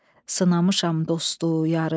Sınamışam dostu, yarı.